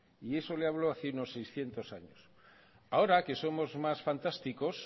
y eso le hablo hace unos seiscientos años ahora que somos más fantásticos